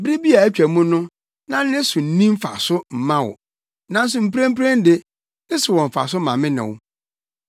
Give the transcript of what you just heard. Bere bi a atwa mu no na ne so nni mfaso mma wo, nanso mprempren de, ne so wɔ mfaso ma me ne wo.